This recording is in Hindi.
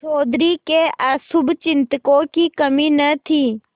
चौधरी के अशुभचिंतकों की कमी न थी